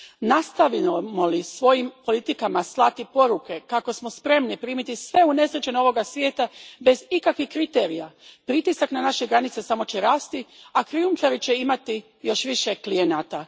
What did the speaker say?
Nastavimo li svojim politikama slati poruke kako smo spremni primiti sve unesrećene ovoga svijeta bez ikakvih kriterija, pritisak na naše granice samo će rasti, a krijumčari će imati još više klijenata.